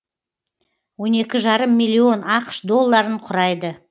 он екі жарым миллион ақш долларын құрайды